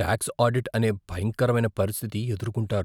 Talks audit అనే భయంకరమైన పరిస్థితి ఎదుర్కుంటారు.